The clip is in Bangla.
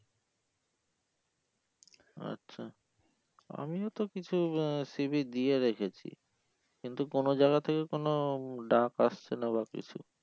আচ্ছা আমিও তো কিছু আহ c. v. দিয়ে রেখেছি কিন্তু কোনো জায়গা থেকে কোনো ডাক আসছে না বা কিছু